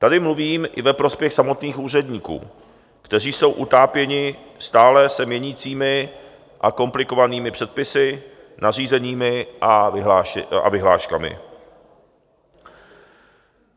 Tady mluvím i ve prospěch samotných úředníků, kteří jsou utápěni stále se měnícími a komplikovanými předpisy, nařízeními a vyhláškami.